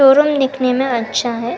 Showroom दिखने में अच्छा है।